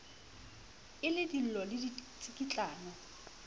e le dillo le ditsikitlano